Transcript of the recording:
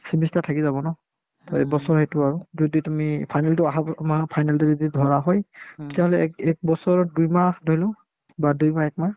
semester থাকি যাব ন to এইবছৰ সেইটো আৰু যদি তুমি final তো আহা ব মাহ final তো যদি ধৰা হয় তেতিয়াহ'লে এক ~ একবছৰত দুইমাহ ধৰিলো বা দুইমাহ বা একমাহ